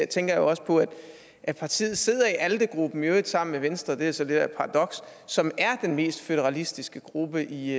tænker jeg også på at partiet sidder i alde gruppen i øvrigt sammen med venstre det er så lidt af et paradoks som er den mest føderalistiske gruppe i